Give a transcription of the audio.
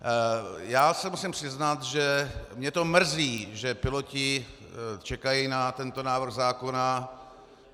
Já se musím přiznat, že mě to mrzí, že piloti čekají na tento návrh zákona.